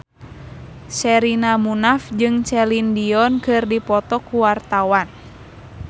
Sherina Munaf jeung Celine Dion keur dipoto ku wartawan